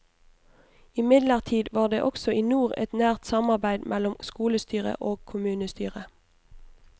Imidlertid var det også i nord et nært samarbeid mellom skolestyret og kommunestyret.